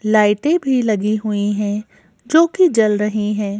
लाइटें भी लगी हुई हैं जो कि जल रही हैं।